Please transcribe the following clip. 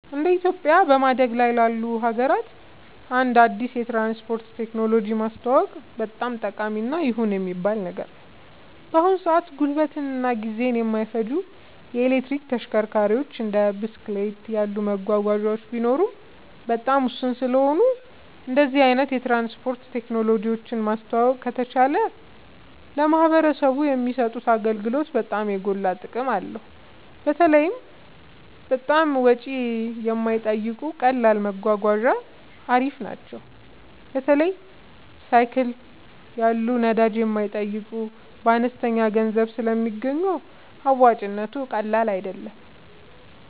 እንደ ኢትዮጵያ በማደግ ላይ ላሉ ሀገራት አንድ አዲስ የትራንስፖርት ቴክኖሎጂ ማስተዋወቅ በጣም ጠቃሚ እና ይሁን የሚባል ነገር ነው። በአሁን ሰአት ጉልበትን እና ጊዜን የማይፈጁ የኤሌክትሪክ ተሽከርካሪዎች እንደ ብስክሌት ያሉ መጓጓዣዎች ቢኖሩም በጣም ውስን ስለሆኑ እንደዚህ አይነት የትራንስፖርት ቴክኖሎጂ ማስተዋወቅ ከተቻለ ለማህበረሰቡ የሚሰጡት አገልግሎት በጣም የጎላ ጥቅም አለው። በተለይ በጣም ወጪ የማይጠይቁ ቀላል መጓጓዣ አሪፍ ናቸው። በተለይ ሳይክል ያሉ ነዳጅ የማይጠይቁ በአነስተኛ ገንዘብ ስለሚገኙ አዋጭነቱ ቀላል አይደለም